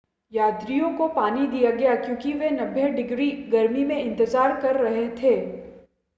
यात्रियों को पानी दिया गया क्योंकि वे 90 f - डिग्री गर्मी में इंतज़ार कर रहे थे